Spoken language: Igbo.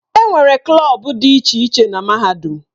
Enwere klọb dị iche iche na Mahadum.